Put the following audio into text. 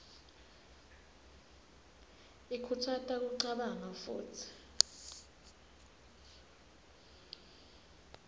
ikhutsata kucabanga futsi